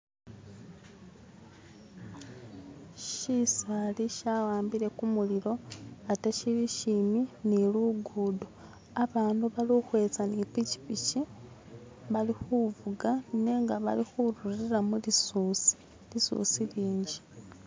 shisaali shawambile kumulilo ate shili aambi nilugudo abandu balikwitsa nipikipiki bali kuvuga nenga balikubirila mulisuusi, lisuusi lingi